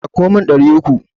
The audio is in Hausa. Ɗauko min ɗari uku.